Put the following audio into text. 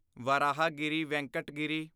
Varahagiri Venkat Giri